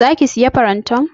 Za ki sayi farantan?